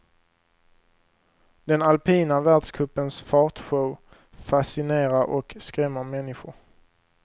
Den alpina världscupens fartshow fascinerar och skrämmer människor.